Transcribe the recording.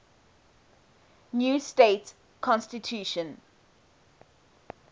new state constitution